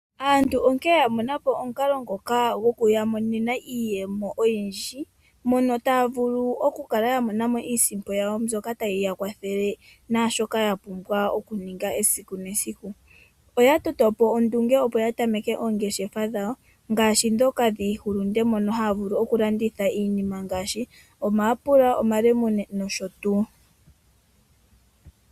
Aantu onkene ya mona po omukalo ngoka gokuyamonena iiyemo oyindji mono taya vulu okukala ya mona iisimpo yawo mbyoka tayi ya kwathele naa shoka ya pumbwa okuninga esiku nesiku. Oya toto po ondunge, opo ya tameke oongeshefa dhawo ngaashi ndhoka dhiihulunde mono haya vulu okulanditha iinima ngaashi omayapula, omalemune nosho tuu.